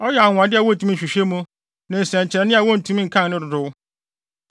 Ɔyɛ anwonwade a wontumi nhwehwɛ mu, ne nsɛnkyerɛnne a wontumi nkan ne dodow.